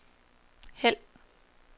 hæld